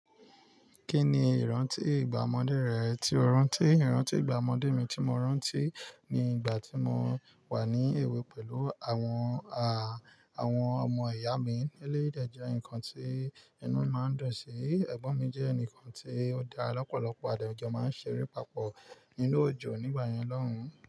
Kí ni ìrántí ìgbà ọmọdé rẹ tí o rántí? Ìrántí ìgbà ọmọdé mi tí mo rántí ni ìgbà tí mo wà ní èwe pẹ̀lú àwọn a-àwọn ọmọ ìyá mi nílé. Eleyii de jẹ́ nǹkan tí inú máa ń dùn sí. Ẹ̀gbọ́n mi jẹ́ ẹnìkan tí ó da lọ́pọ̀lọpọ̀ a de jọ máa ń ṣe ere pa pò inú òjò nígbà yẹn lọ́hùn-ún.